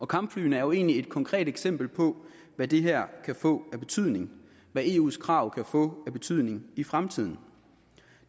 kampflyene er jo egentlig et konkret eksempel på hvad det her kan få af betydning hvad eus krav kan få af betydning i fremtiden